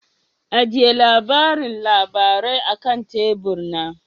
Ajiye labarin labarai akan tebur na.